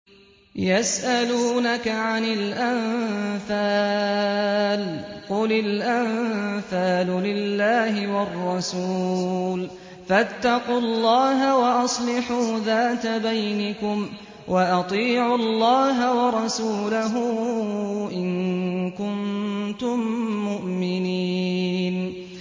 يَسْأَلُونَكَ عَنِ الْأَنفَالِ ۖ قُلِ الْأَنفَالُ لِلَّهِ وَالرَّسُولِ ۖ فَاتَّقُوا اللَّهَ وَأَصْلِحُوا ذَاتَ بَيْنِكُمْ ۖ وَأَطِيعُوا اللَّهَ وَرَسُولَهُ إِن كُنتُم مُّؤْمِنِينَ